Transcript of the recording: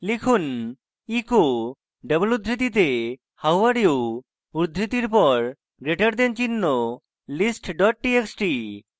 লিখুন echo double উদ্ধৃতিতে how are you উদ্ধৃতির পর গ্রেটার দেন চিহ্ন list ডট txt